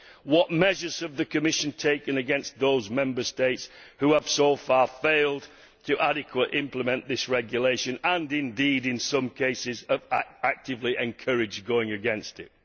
What measures has the Commission taken against those Member States who have so far failed to adequately implement this regulation and, indeed, in some cases are actively encouraging going against it?